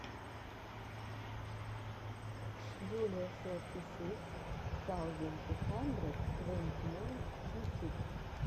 джулиа сорти сыкс саузенд ту хандрэд твэнти найн ютюб